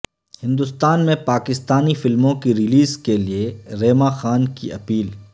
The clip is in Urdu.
ہندوستان میں پاکستانی فلموں کی ریلیز کے لئے ریما خان کی اپیل